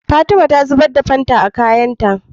Fatima ta zubar da fanta a kayan ta